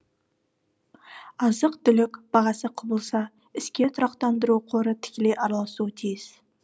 азық түлік бағасы құбылса іске тұрақтандыру қоры тікелей араласуы тиіс